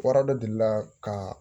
Wara dɔ delila ka